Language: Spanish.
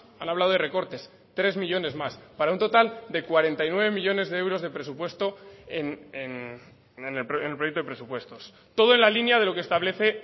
han hablado de recortes tres millónes más para un total de cuarenta y nueve millónes de euros de presupuesto en el proyecto de presupuestos todo en la línea de lo que establece